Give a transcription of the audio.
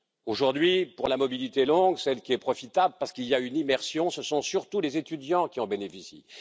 Aujourd'hui, pour la mobilité longue, celle qui est profitable parce qu'il y a une immersion, ce sont surtout les étudiants qui en bénéficient.